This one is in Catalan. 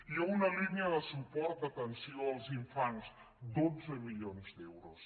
hi ha una línia de suport d’atenció als infants dotze milions d’euros